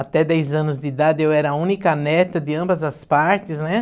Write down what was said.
Até dez anos de idade eu era a única neta de ambas as partes, né?